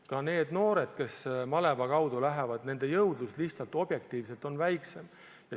Ka nende noorte jõudlus, kes maleva kaudu tööle lähevad, on lihtsalt objektiivselt väiksem.